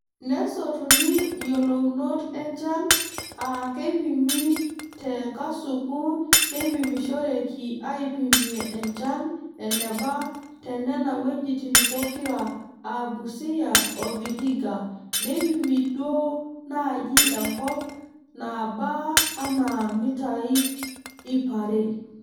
Nesotuni iyiolounot enchan aa keipimi te nkasuku naipimishoreki aaipimie enchan eneba te Nena wuejitin pokira aa Busia o Vihiga neipimi duoo naaji enkop naaba anaa mitai ipare.